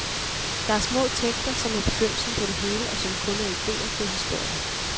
Der er små tekster, som er begyndelsen på det hele, og som kun er idéer til historier.